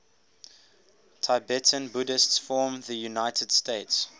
tibetan buddhists from the united states